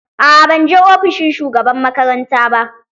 A'a banje ofishin shugaban makaranta ba.